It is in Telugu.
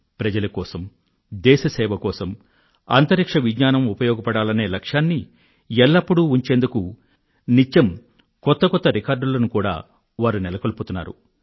ప్రజల కోసం దేశ సేవ కోసం అంతరిక్ష విజ్ఞానం ఉపయోగపడాలనే లక్ష్యాన్ని ఎల్లప్పుడూ ఉంచేందుకు నిత్యం కొత్త కొత్త రికార్డులను కూడా వారు నెలకొల్పుతున్నారు